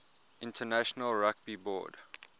international rugby board